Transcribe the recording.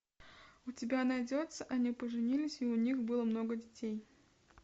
у тебя найдется они поженились и у них было много детей